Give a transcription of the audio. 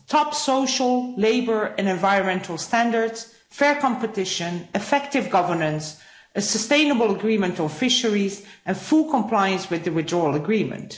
Top social, labour and environmental standards, fair competition, effective governance, a sustainable agreement on fisheries and full compliance with the Withdrawal Agreement.